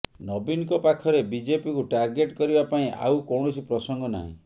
ନବୀନଙ୍କ ପାଖରେ ବିଜେପିକୁ ଟାର୍ଗେଟ କରିବା ପାଇଁ ଆଉ କୌଣସି ପ୍ରସଙ୍ଗ ନାହିଁ